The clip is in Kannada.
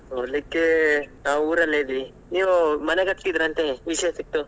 ನೋಡ್ಲಿಕ್ಕೆ ನಾವ್ ಊರಲ್ಲೆ ಇದ್ವಿ ನೀವ್ ಮನೆ ಕಟ್ತಿದಿರಿ ಅಂತೇ ವಿಷ್ಯ ಸಿಗ್ತು.